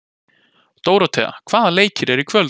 Dóróthea, hvaða leikir eru í kvöld?